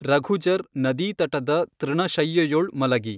ರಘುಜರ್ ನದೀತಟದ ತೃಣಶಯ್ಯೆಯೊಳ್ ಮಲಗಿ